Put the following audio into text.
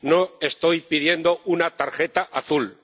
No estoy pidiendo una tarjeta azul.